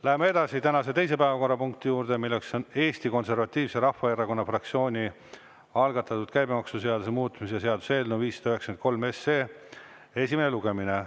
Läheme edasi tänase teise päevakorrapunkti juurde, milleks on Eesti Konservatiivse Rahvaerakonna fraktsiooni algatatud käibemaksuseaduse muutmise seaduse eelnõu 593 esimene lugemine.